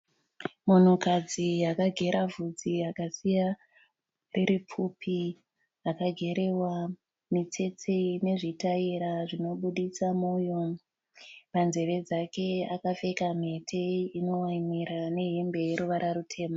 Munhukadzi akagera vhudzi akasiya riri pfupi. Rakagerewa mitsetse ine zvitaira zvinobuditsa moyo. Panzeve dzake akapfeka mhete inovaimira nehembe yeruvara rutema.